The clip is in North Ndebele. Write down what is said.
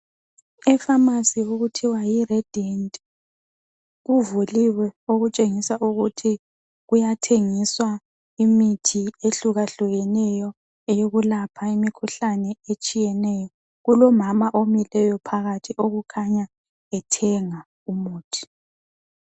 Ipharmacy okuthiwa yi Radiant kuvuliwe okutshengisa ukuthi kuyathengiswa imithi ehlukahlukeneyo yokulapha imikhuhlane etshiyeneyo. Kulomama omileyo phakathi okukhanya ethenga umuthi.